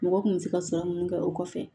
Mɔgɔ kun bɛ se ka sɔrɔ munnu kɛ o kɔfɛ